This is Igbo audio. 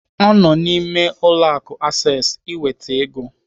Ọ nọ n'ime ụlọ akụ Access iweta ego.